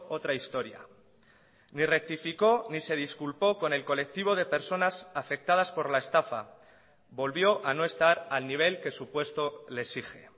otra historia ni rectificó ni se disculpó con el colectivo de personas afectadas por la estafa volvió a no estar al nivel que su puesto le exige